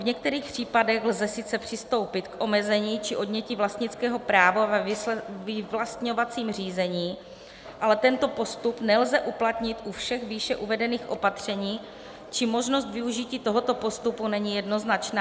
V některých případech lze sice přistoupit k omezení či odnětí vlastnického práva ve vyvlastňovacím řízení, ale tento postup nelze uplatnit u všech výše uvedených opatření, či možnost využití tohoto postupu není jednoznačná.